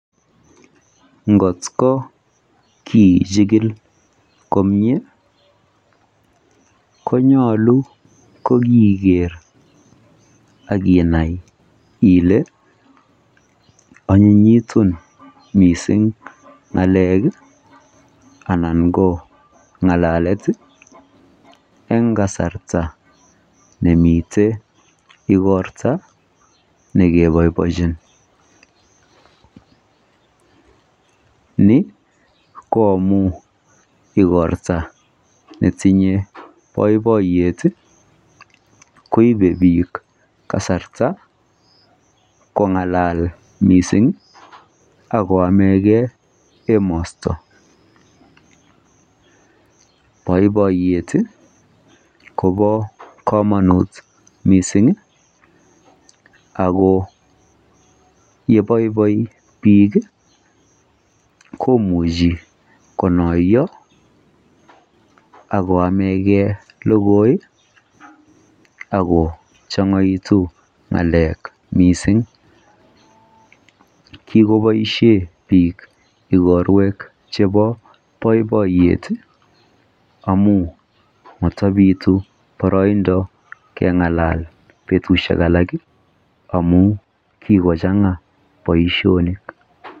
ngot ko kiichigil komyee konyolu kogigeer aginai ile onyitun mising ngaleek iih anan ko ngalalet iih en kasarta nemiten igorta negeboiboinchi, ni ko amuun igorta netinye boiboiyeet iih koibe biik kasarta kongalal mising ak koamegee emosto, boiboiyeet iih kobo komonuut mising iih ago yeboiboi biik iih komuchi konoyo agoamegee logooi iih ak kochongoitu ngaleek mising, kigoboishen biik igorweek chebo boiboiyeet iih amuun motobitu boroindo kengalal betushek alak iih amuun kigochanga baoishonik.